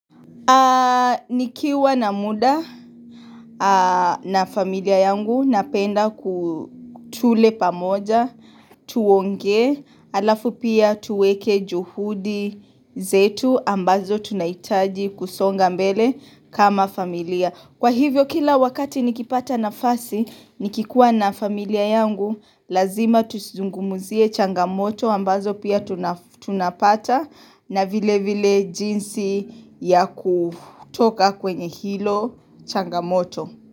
Nikiwa na muda na familia yangu napenda tule pamoja, tuongee, alafu pia tuweke juhudi zetu ambazo tunahitaji kusonga mbele kama familia. Kwahivyo kila wakati nikipata nafasi nikikuwa na familia yangu lazima tungumuzie changamoto ambazo pia tuna fa pata na vilevile jinsi ya kutoka kwenye hilo changamoto.